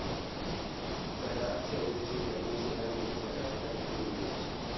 സകാത്ത് ശേഖരിച്ച് വിതരണം ചെയ്യാൻ വേണ്ടി സകാത്ത് കമ്മിറ്റി രൂപീകരിച്ചു.